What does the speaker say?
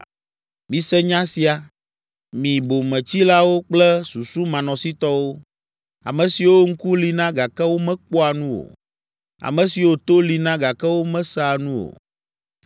‘Mise nya sia, mi bometsilawo kple susumanɔsitɔwo, ame siwo ŋku li na, gake womekpɔa nu o, ame siwo to li na, gake womesea nu o.’